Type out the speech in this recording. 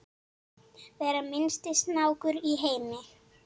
vera minnsti snákur í heimi